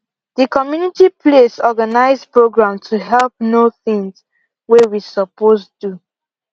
the community place organize program to help know things way we supposed do